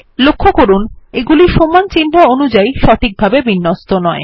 লক্ষ্য করুন এগুলি সমান চিহ্ন অনুযায়ী সঠিকভাবে বিন্যস্ত নয়